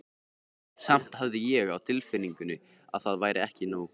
Samt hafði ég á tilfinningunni að það væri ekki nóg.